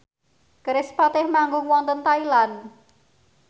kerispatih manggung wonten Thailand